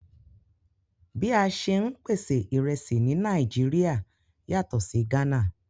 Bí a ṣè n pèsè ìrẹ̀sì ní Nàìjíríà yàtọ̀ sí Gana